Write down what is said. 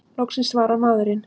Loksins svarar maðurinn!